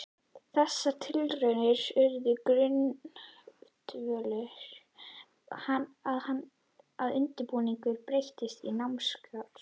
Þessar tilraunir urðu grundvöllur að undirbúningi breytinga á námskrá.